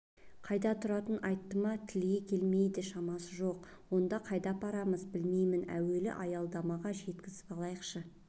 қайда тұратынын айтты ма тілге келетіндей шамасы жоқ онда қайда апарамыз білмеймін әуелі аялдамаға жеткізіп алайықшы